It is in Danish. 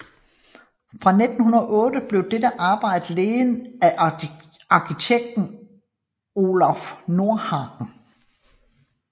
Fra 1908 blev dette arbejde ledet af arkitekt Olaf Nordhagen